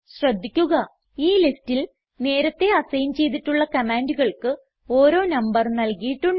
ശ്രദ്ധിക്കുക ഈ ലിസ്റ്റിൽ നേരത്തേ അസൈൻ ചെയ്തിട്ടുള്ള കമാൻഡുകൾക്ക് ഓരോ നമ്പർ നൽകിയിട്ടുണ്ട്